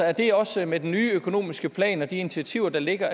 er det også med den nye økonomiske plan og de initiativer der ligger